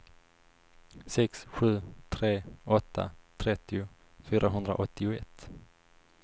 sex sju tre åtta trettio fyrahundraåttioett